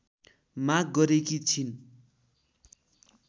माग गरेकी छिन्।